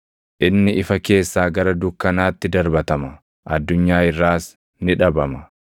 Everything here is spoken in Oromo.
Inni ifa keessaa gara dukkanaatti darbatama; addunyaa irraas ni dhabama.